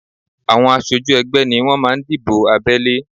Àwọn aṣojú ẹgbẹ́ ni wọ́n máa ń dìbò abẹ́lé